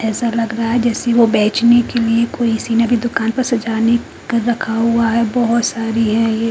ऐसा लग रहा है जैसे वो बेचने के लिए कोई सी दुकान पर सजाने क रखा हुआ है बहोत सारी है ये--